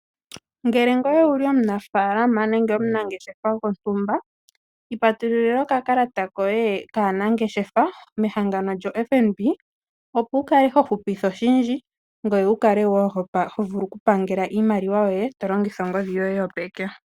Ngele ngoye owuli omunafaalama nenge omunangeshefa gontumba iipatululila okakalata koye kaanangeshefa mehangano lyoFNB opo wukale hohupitha oshindji ngoye wukale wo hovulu okupangela iimaliwa yoye tolongitha ongodhi yoye yopeke.